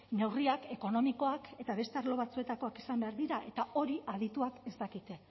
neurriak ekonomikoak eta beste arlo batzuetakoak izan behar dira eta hori adituek ez dakite